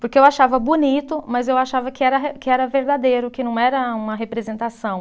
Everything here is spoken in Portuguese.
Porque eu achava bonito, mas eu achava que era re, que era verdadeiro, que não era uma representação.